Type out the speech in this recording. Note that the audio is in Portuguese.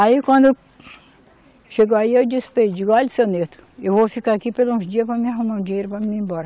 Aí, quando chegou aí, eu disse para ele, digo, olha, seu Nerto, eu vou ficar aqui por uns dias para mim arrumar um dinheiro para mim ir embora.